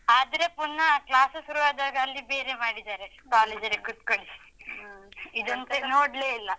ಆದ್ರೆ ಪುನ class ಸುರುವಾದಾಗ ಅಲ್ಲಿ ಬೇರೆಯೇ ಮಾಡಿದ್ದಾರೆ. college ಲ್ಲಿ ಕುತ್ಕೊಳಿಸಿ ಇದೊಂದುಚೂರು ನೋಡ್ಲೇ ಇಲ್ಲ.